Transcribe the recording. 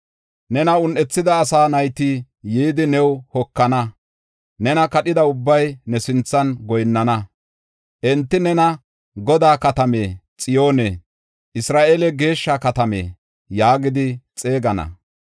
Nena un7ethida asaa nayti yidi new hokana; nena kadhida ubbay ne sinthan goyinnana. Enti nena, ‘Godaa Katame, Xiyoone, Isra7eele, Geeshsha Katame’ yaagidi xeegana.